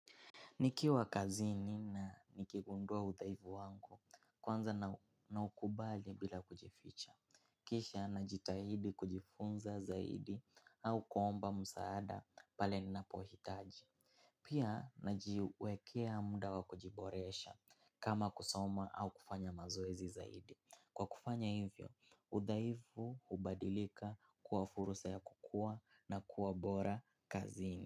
Nikiwa kazini na nikigundua udhaivu wangu kwanza naukubali bila kujificha. Kisha najitahidi kujifunza zaidi au kuomba msaada pale ninapohitaji. Pia najiwekea muda wa kujiboresha kama kusoma au kufanya mazoezi zaidi. Kwa kufanya hivyo, udhaifu hubadilika kuwa fursa ya kukuwa na kuwa bora kazini.